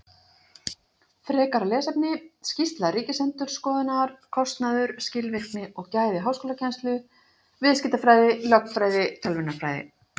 Frekara lesefni: Skýrsla Ríkisendurskoðunar, Kostnaður, skilvirkni og gæði háskólakennslu: Viðskiptafræði, lögfræði, tölvunarfræði.